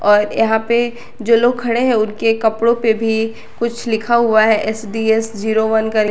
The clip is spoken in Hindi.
और यहां पे जो लोग खड़े हैं उनके कपड़ों पे भी कुछ लिखा हुआ है एसडीएस जीरो वन कर--